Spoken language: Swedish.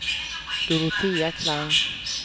Dorotea Klang